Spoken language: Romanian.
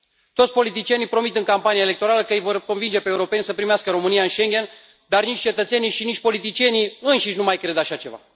Toți politicienii promit în campania electorală că îi vor convinge pe europeni să primească România în Schengen, dar nici cetățenii și nici politicienii înșiși nu mai cred așa ceva.